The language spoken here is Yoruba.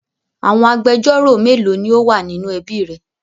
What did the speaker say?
Àwọn agbẹjọ́rò mélòó ni ó wà ní inú ẹbí rẹ?